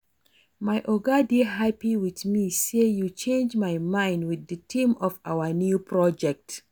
My Oga dey happy with me say yo change im mind with the theme of our new project